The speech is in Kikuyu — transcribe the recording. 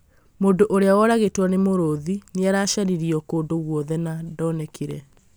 Mũndũ ũrĩa woragĩtwo nĩ mũrũthi nĩ aracaririo kũndũ guothe no ndonekĩre